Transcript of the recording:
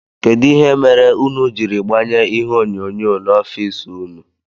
Kedụ ihe mere ụnụ jiri gbanye ihe onyonyo n'ofici ụnụ?